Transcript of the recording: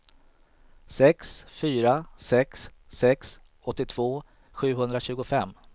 sex fyra sex sex åttiotvå sjuhundratjugofem